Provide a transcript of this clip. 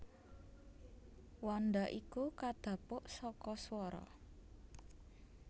Wanda iku kadhapuk saka swara